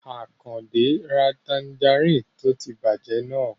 Àkàndé ra tanjarínnì tó ti bàjẹ́ náà